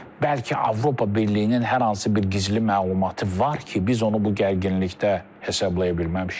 Bəlkə Avropa Birliyinin hər hansı bir gizli məlumatı var ki, biz onu bu gərginlikdə hesablaya bilməmişik.